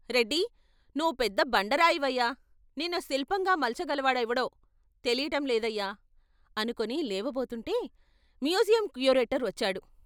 రెడ్డి నువ్వు పెద్ద బండరాయివయ్యా, నిన్ను శిల్పంగా మలచగలవాడెవడో తెలియటం లేదయ్యా అనుకుని లేవబోతుంటే మ్యూజియం క్యూరేటర్ వచ్చాడు.